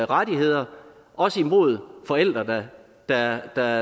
rettigheder også imod forældre der